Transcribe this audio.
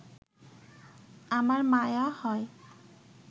আমার মায়া হয়